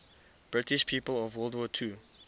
british people of world war ii